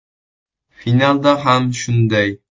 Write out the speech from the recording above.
Finalda ham shunday.